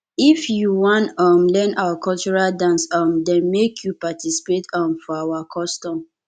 if you wan um learn our cultural dance um dem make you participate um for our custom